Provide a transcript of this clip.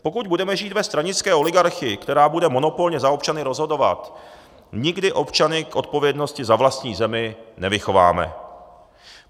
Pokud budeme žít ve stranické oligarchii, která bude monopolně za občany rozhodovat, nikdy občany k odpovědnosti za vlastní zemi nevychováme.